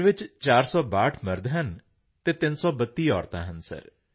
ਪਿੰਡ ਵਿੱਚ 462 ਮਰਦ ਹਨ ਅਤੇ 332 ਔਰਤਾਂ ਹਨ ਸਰ